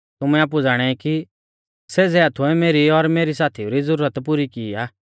तुमै आपु ज़ाणाई कि सेज़ै हाथुऐ मेरी और मैरै साथीऊ री ज़ुरत पुरी की आ